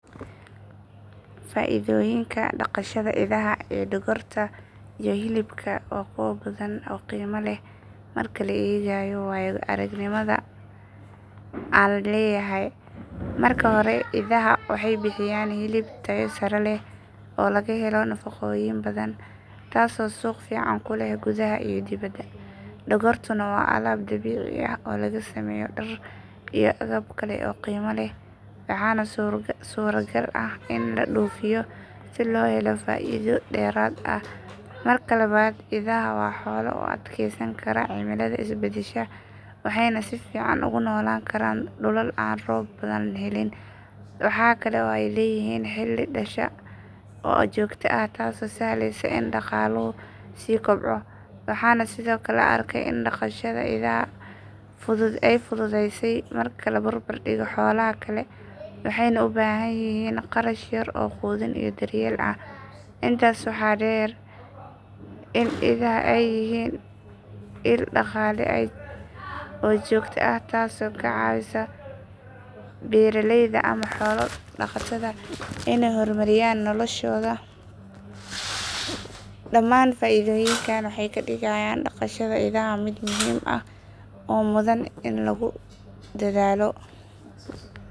Faa'iidooyinka dhaqashada idaha ee dhogorta iyo hilibka waa kuwo badan oo qiimo leh marka la eego waayo aragnimada aan leeyahay. Marka hore idaha waxay bixiyaan hilib tayo sare leh oo laga helo nafaqooyin badan, taasoo suuq fiican ku leh gudaha iyo dibadda. Dhogortuna waa alaab dabiici ah oo laga sameeyo dhar iyo agab kale oo qiimo leh, waxaana suuragal ah in la dhoofiyo si loo helo faa’iido dheeraad ah. Marka labaad idaha waa xoolo u adkeysan kara cimilada isbedbedesha waxayna si fiican ugu noolaan karaan dhulal aan roob badan helin. Waxaa kale oo ay leeyihiin xilli dhasha ah oo joogto ah taasoo sahlaysa in dhaqaaluhu sii kobco. Waxaan sidoo kale arkay in dhaqashada idaha ay fududahay marka la barbardhigo xoolaha kale waxayna u baahan yihiin kharash yar oo quudin iyo daryeel ah. Intaas waxaa dheer in idaha ay yihiin il dhaqaale oo joogto ah taasoo ka caawisa beeraleyda ama xoolo dhaqatada inay horumariyaan noloshooda. Dhamaan faa’iidooyinkan waxay ka dhigayaan dhaqashada idaha mid muhiim ah oo mudan in lagu dadaalo.